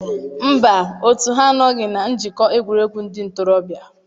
Mba, otu ha anọghị na Njikọ Egwuregwu Ndị Ntorobịa.